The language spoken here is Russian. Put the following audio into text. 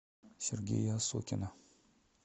сергея осокина